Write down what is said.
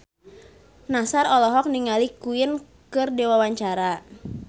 Nassar olohok ningali Queen keur diwawancara